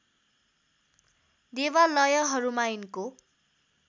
देवालयहरूमा यिनको